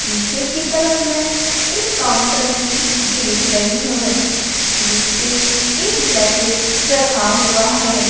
पीछे की तरफ मैं एक काउंटर भी देख रही हूं जिस पे एक जैकेट रखा हुआ है।